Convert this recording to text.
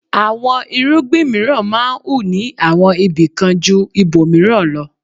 Àwọn irúgbìn mìíràn máa ń hù ní àwọn ibìkan jú ibòmìíràn lọ.